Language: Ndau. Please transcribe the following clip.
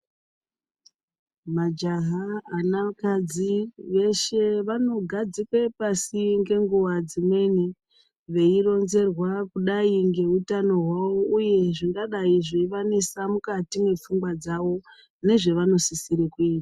Majaha anakadzi veshe vanogadzikwe pashi ngenguva dzimweni. Veironzerwa kudai ngeutano hwavo, uye zvingadai zveivanesa mukati mwepfungwa dzavo nezvavanosisire kuita.